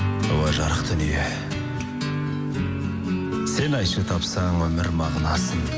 уа жарық дүние сен айтшы тапсаң өмір мағынасын